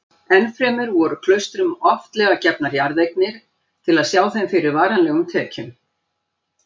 Ennfremur voru klaustrum oftlega gefnar jarðeignir til að sjá þeim fyrir varanlegum tekjum.